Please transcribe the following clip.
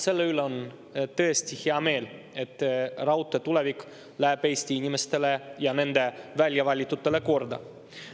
Selle üle on tõesti hea meel, et raudtee tulevik läheb Eesti inimestele ja nende väljavalitutele korda.